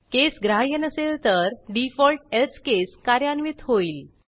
केस ग्राह्य नसेल तर डिफॉल्ट एल्से केस कार्यान्वित होईल